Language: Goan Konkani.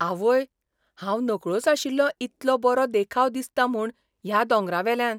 आवय, हांव नकळोच आशिल्लों इतलो बरो देखाव दिसता म्हूण ह्या दोंगरावेल्यान!